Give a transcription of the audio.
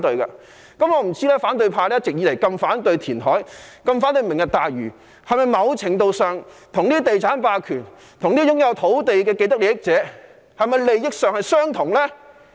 我不知道反對派一直以來如此反對填海、如此反對"明日大嶼"，是否某程度上跟地產霸權、跟擁有土地的既得利益者有相同利益呢？